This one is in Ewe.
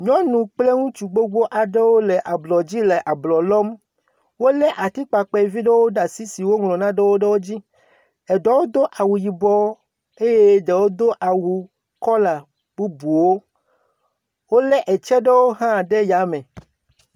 Nyɔnu kple ŋutsu gbogbo aɖewo le ablɔdzi le ablɔ lɔm. Wole atikpakpɛ vi ɖewo ɖe asi woŋlɔ naɖewo ɖe wo dzi. Eɖewo do awu yibɔwo eye eɖewo do awu kɔla bubuwo. Wolé etsɛ ɖewo hã ɖe ya me.